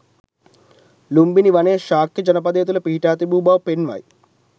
ලුම්බිණි වනය ශාක්‍ය ජනපදය තුළ පිහිටා තිබූ බව පෙන්වයි.